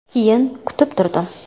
Keyin kutib turdim.